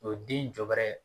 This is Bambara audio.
O den jɔ bɛrɛ.